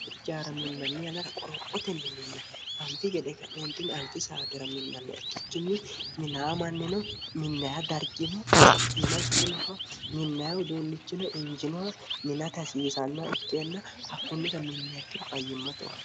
harucaara minnanni anara qorophotenni minna anfi gede ka'meentinni anfi saatira minnanna ikkikkinni minaamannino minnaya dargino co'yima ikkinoha minnaya uduunnichino injinoha mina tasiisannoh ikkeenna hakkunnira minnaakkiro fayyimmatuha